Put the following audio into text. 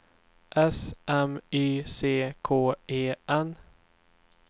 S M Y C K E N